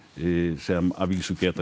sem að vísu geta